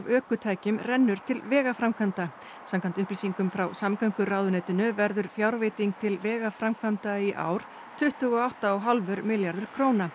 ökutækjum rennur til vegaframkvæmda samkvæmt upplýsingum frá samgönguráðuneytinu verður fjárveiting til vegaframkvæmda í ár tuttugu og átta og hálfur milljarður króna